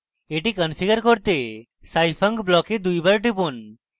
এটি configure করতে scifunc block দুইবার টিপুন